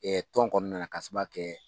tɔn kɔnɔna na ka sababuya kɛ